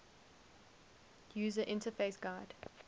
user interface gui